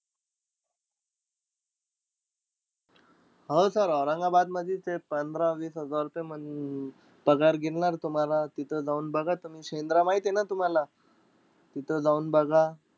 हो sir औरंगाबादमधी ते पंधरा-वीस हजार रुपये अं पगार गिरनार तुम्हाला. तिथं जाऊन बघा तुम्ही. शेंद्रा माहितीय ना तुम्हाला? तिथं जाऊन बघा.